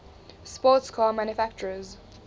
sports car manufacturers